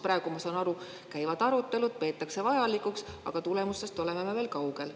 Praegu, ma saan aru, käivad arutelud, peetakse seda vajalikuks, aga tulemustest oleme veel kaugel.